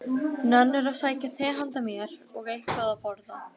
Nennirðu að sækja te handa mér og eitthvað að borða?